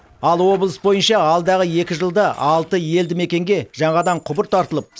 ал облыс бойынша алдағы екі жылда алты елді мекенге жаңадан құбыр тартылып